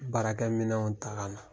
Baarakɛminɛnw ta ka na.